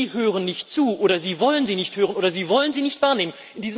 Sie hören nicht zu, oder Sie wollen sie nicht hören, oder Sie wollen sie nicht wahrnehmen.